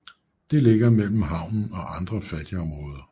Det ligger mellem havnen og andre fattigområder